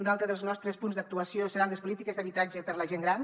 un altre dels nostres punts d’actuació seran les polítiques d’habitatge per a la gent gran